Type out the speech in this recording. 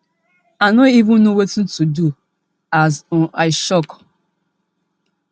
i know even no wetin to do as um i shock